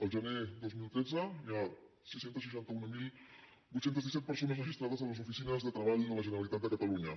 al gener dos mil tretze hi ha sis cents i seixanta mil vuit cents i disset persones registrades a les oficines de treball de la generalitat de catalunya